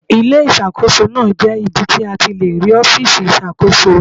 Ilé Ìṣàkóso náà jẹ́ ibi tí a ti le rí ọfiisi iṣakoso